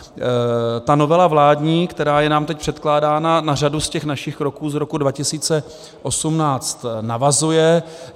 Ta novela vládní, která je nám teď předkládána na řadu z těch našich kroků z roku 2018 navazuje.